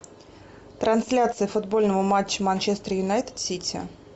трансляция футбольного матча манчестер юнайтед сити